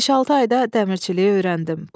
Beş-altı ayda dəmirçiliyi öyrəndim.